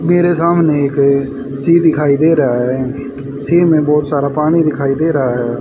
मेरे सामने एक सी दिखाई दे रहा है सी में बहुत सारा पानी दिखाई दे रहा है।